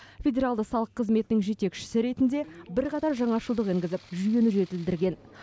федералды салық қызметінің жетекшісі ретінде бірқатар жаңашылдық енгізіп жүйені жетілдірген